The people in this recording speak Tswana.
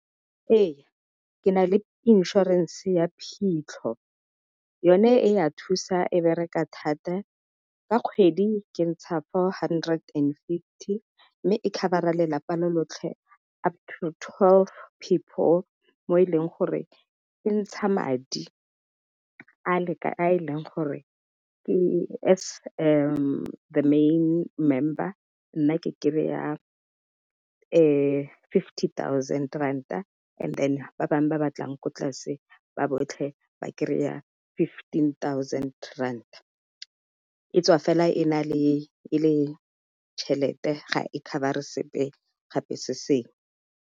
Ee, ke na le inšorense ya phitlho. Yone e ya thusa, e bereka thata. Ka kgwedi ke ntsha four hundred and fifty, mme e cover-a lelapa lo lotlhe. Up to twelve people mo e leng gore, e ntsha madi a e leng gore ke as the main member, nna ke kry-a fifty thousand rand-ta, and then ba bangwe ba ba batlang ko tlase ba botlhe, ba kry-a fifteen thousand rand-ta. Etswa fela e le tšhelete ga e cover-e sepe gape se sengwe.